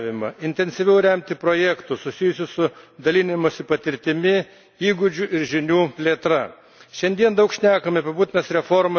Turime skatinti regioninį bendradarbiavimą, intensyviau remti projektus, susijusius su dalinimusi patirtimi, įgūdžių ir žinių plėtra.